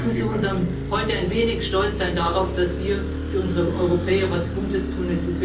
Lassen Sie uns heute ein wenig stolz sein darauf, dass wir für uns Europäer etwas Gutes tun.